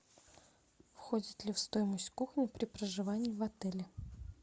входит ли в стоимость кухня при проживании в отеле